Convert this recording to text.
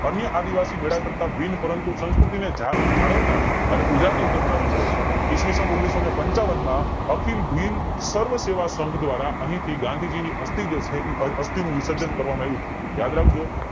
અન્ય આદિવાસી કરતા મેલા કરતા બિન પરંતુ સંકૃતિને જ જાળવનાર અને ઉજાગળ કરનારો મેળો છે ઈસ્વીસન ઓગણીસો પંચાવન માં અખિલ ભીલ સર્વ સેવા સંઘ દ્વારા અહીંથી ગાંધીજી ની અસ્થિ જે છે અસ્થિનું વિશર્જન કરવામાં આવ્યું તું યાદ રાખજો